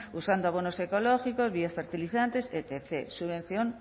usando abonos ecológicos biofertilizantes etcétera subvención